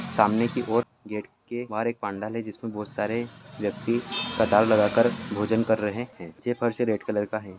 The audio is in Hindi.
सामने की ओर गेट के बाहर एक पंडाल है जिसमे बहुत सारे व्यक्ति कतार लगा के भोजन कर रहे हैं।